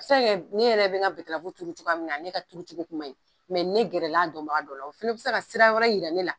ne yɛrɛ bɛ n ka tuuru cogoya min na ne ka turucogo kuma ɲi ne gɛrɛla a dɔnba dɔ la o fana bɛ se ka sira wɛrɛ yira ne la.